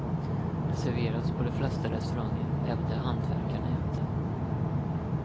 Det serveras på de flesta restauranger, även där hantverkarna äter.